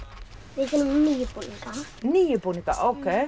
við þurfum níu búninga níu búninga ókei